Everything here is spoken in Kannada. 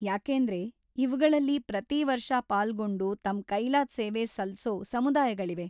ಯಾಕೇಂದ್ರೆ ಇವ್ಗಳಲ್ಲಿ ಪ್ರತೀ ವರ್ಷ ಪಾಲ್ಗೊಂಡು ತಮ್ಮ್‌ ಕೈಲಾದ್ ಸೇವೆ ಸಲ್ಸೋ ಸಮುದಾಯಗಳಿವೆ.